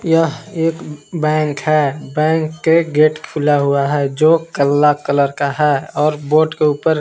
यह एक बैंक है बैंक के गेट खुला हुआ है जो काला कलर का है और बोर्ड के ऊपर--